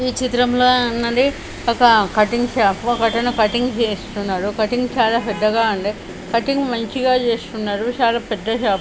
ఈ చిత్రం లో ఉన్నది ఒక కటింగ్ షాపు . ఒకతను కటింగ్ చేస్తున్నాడు. కటింగ్ చాలా పెద్దగా ఉంది. కటింగ్ మంచిగా చేస్తున్నాడు చాలా పెద్ద షాపు .